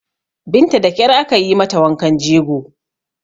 Binta da ƙyar aka yi mata wankan jego